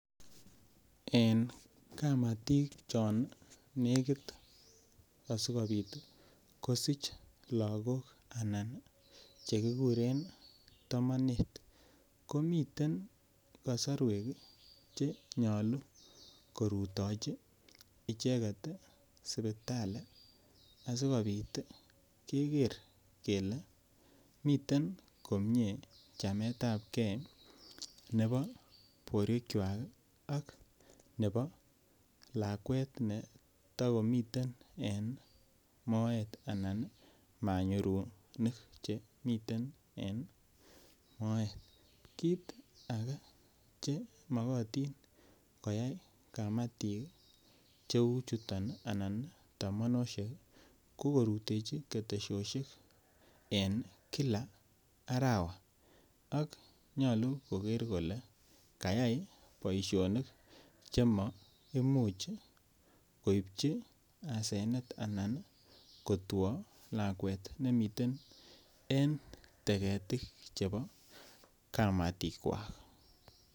En kamatik chon nekit asikobit kosich lakok anan chekikuren tomonet komiten kosorwek chenyolu korutechi icheket sipital asikeker kele miten komie chametab ne bo borwekwak ak ne bo lakwet netokomiten en moet anan manyurunik chemiten en moet, kit ake neyoche koyai kamatik cheu chuton ii anan tomonosiek ko korutechi ketesosiek en kila arawa ak nyolu koker kole kayai boisionik chema imuchi koipchi asenet anan kotwo lakwet nemiten en teketik chebo kamatikwak.